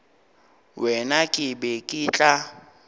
wena ke be ke tla